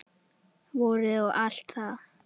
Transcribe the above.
Vorið og allt það.